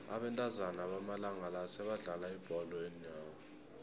abentazana bamalanga la sebadlala ibholo yeenyawo